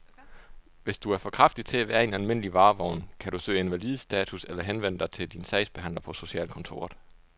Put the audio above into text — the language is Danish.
Hvis du er for kraftig til at være i en almindelig varevogn, kan du kan søge invalidestatus eller henvende dig til din sagsbehandler på socialkontoret.